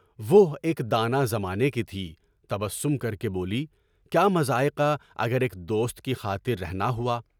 وہ ایک دانا زمانے کی تھی، تبسم کر کے بولی، کیا مضائقہ اگر ایک دوست کی خاطر رہنا ہوا؟